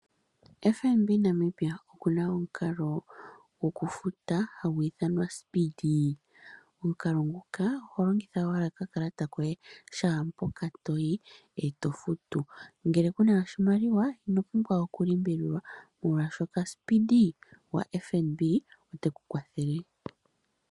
FNB Namibia okuna omukalo gwokufuta hagu ithanwa ospeedee, omukalo muka oho longitha owala okakalata koye shaampoka toyi eto futu ngele kuna oshimaliwa ino pumbwa oku limbililwa oshoka speedee gwo FNB opo guli.